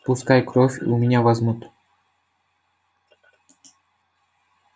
пускай кровь у меня возьмут